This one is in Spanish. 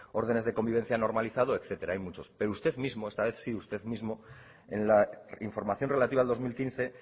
ordenes de convivencia normalizada etcétera hay muchos pero usted mismo sí usted mismo en la información relativa al dos mil quince